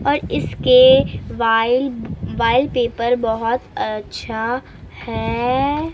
और इसके वायल वायल पेपर बहुत अच्छा है।---